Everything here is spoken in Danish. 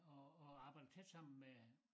Og og arbejder tæt sammen med